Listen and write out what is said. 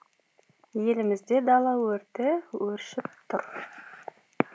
елімізде дала өрті өршіп тұр